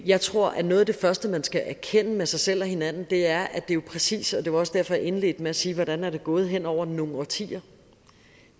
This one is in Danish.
jeg tror at noget af det første man skal erkende med sig selv og hinanden er at det jo præcist det var også derfor jeg indledte med at sige hvordan det er gået hen over nogle årtier